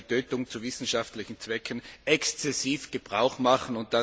der Tötung zu wissenschaftlichen Zwecken exzessiv Gebrauch machen.